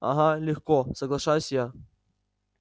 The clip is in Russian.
ага легко соглашаюсь я